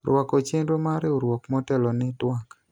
rwako chenro mar riwruok motelo ne twak